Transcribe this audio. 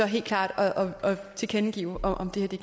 helt klart tilkendegiver om det